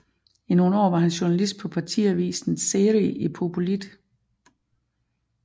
I nogle år var han journalist på partiavisen Zëri i Popullit